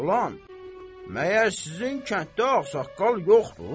Oğlan, məyər sizin kənddə ağsaqqal yoxdur?